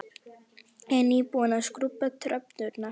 Ég er nýbúin að skrúbba tröppurnar.